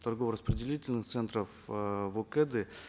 торгово распределительных центров э в окэд ы